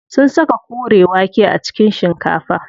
Sun saka kore wake a cikin shikafa.